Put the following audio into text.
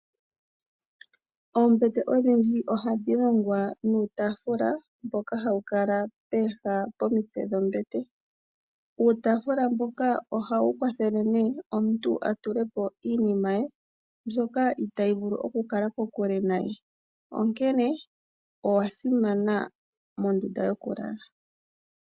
Oombete odhindji ohadhi longwa nuutaafula mboka hawu kala pooha pomitse dhombete. Uutaafalula mboka ohawu kwathele omuntu atulepo iinima mbyoka itaayi vulu okukala kokule naye , onkene owasimana mondunda yokulala.